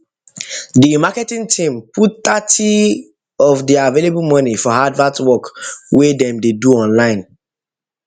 di marketing team marketing team put thirty of their available money for advert work wey dem dey do online